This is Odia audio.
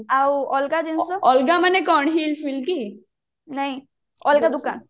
ଆଉ ଅଲଗା ଜିନିଷ ଆଲଗା ମାନେ କଣ ନାଇଁ ଅଲଗା ଦୋକାନ